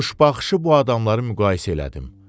Quşbaxışı bu adamları müqayisə elədim.